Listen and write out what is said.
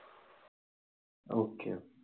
okay